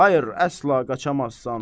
Xeyr, əsla qaçamazsan!